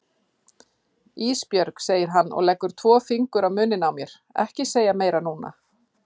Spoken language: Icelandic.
Ísbjörg, segir hann og leggur tvo fingur á munninn á mér, ekki segja meira núna.